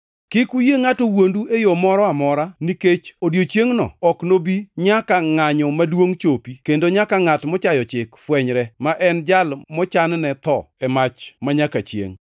Kik uyie ngʼato wuondu e yo moro amora, nikech odiechiengʼno ok nobi nyaka ngʼanyo maduongʼ chopi, kendo nyaka ngʼat mochayo chik fwenyre, ma en jal mochanne tho e mach manyaka chiengʼ.